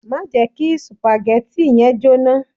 Má jẹ kí supagẹ́tì yẹn jóná.